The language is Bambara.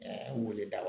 Ɛɛ weleda